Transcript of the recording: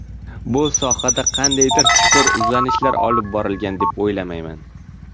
Bu sohada qandaydir chuqur izlanishlar olib borilgan, deb o‘ylamayman.